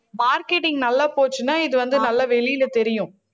marketing நல்லா போச்சுன்னா இது வந்து நல்லா வெளியில தெரியும்